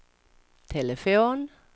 telefon